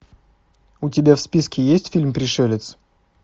у тебя в списке есть фильм пришелец